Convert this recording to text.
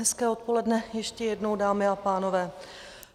Hezké odpoledne ještě jednou, dámy a pánové.